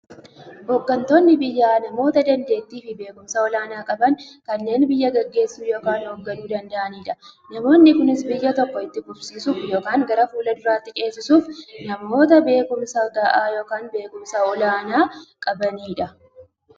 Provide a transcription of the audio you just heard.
Hooggantoonni biyyaa namoota dandeettiifi beekumsa olaanaa qaban, kanneen biyya gaggeessuu yookiin hoogganuu danda'aniidha. Namoonni kunis, biyya tokko itti fufsiisuuf yookiin gara fuulduraatti ceesisuuf, namoota beekumsa gahaa yookiin beekumsa olaanaa qabaniidha.